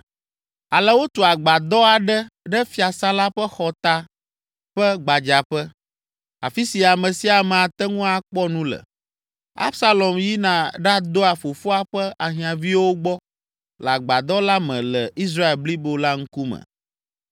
Ale wotu agbadɔ aɖe ɖe fiasã la ƒe xɔta ƒe gbadzaƒe, afi si ame sia ame ate ŋu akpɔ nu le. Absalom yina ɖadɔa fofoa ƒe ahiãviwo gbɔ le agbadɔ la me le Israel blibo la ŋkume.